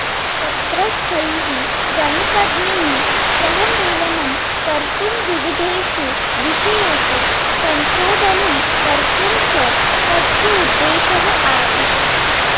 तत्रस्थैः गणितज्ञैः सह मेलेनं कर्तुं विविधेषु विषयेषु संशोधनं कर्तुं च तस्य उद्धेशः आसीत्